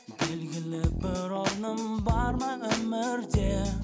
белгілі бір орным бар ма өмірде